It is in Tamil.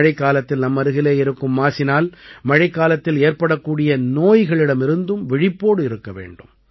மழைக்காலத்தில் நம்மருகிலே இருக்கும் மாசினால் மழைக்காலத்தில் ஏற்படக்கூடிய நோய்களிடமிருந்தும் விழிப்போடு இருக்க வேண்டும்